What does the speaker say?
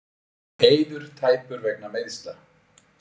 Eiður tæpur vegna meiðsla